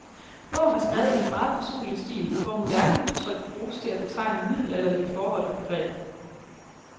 Bogen er skrevet i en meget personlig stil, hvor moderne udtryk bruges til at betegne middelalderlige forhold og begreber.